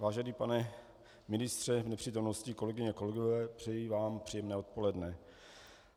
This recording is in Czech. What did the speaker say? Vážený pane ministře v nepřítomnosti, kolegyně a kolegové, přeji vám příjemné odpoledne.